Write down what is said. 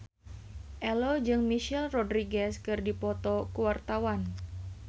Ello jeung Michelle Rodriguez keur dipoto ku wartawan